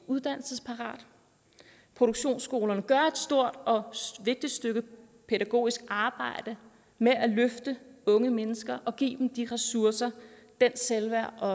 uddannelsesparate produktionsskolerne gør et stort og vigtigt stykke pædagogisk arbejde med at løfte unge mennesker og give dem de ressourcer det selvværd og